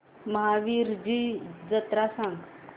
महावीरजी जत्रा मला सांग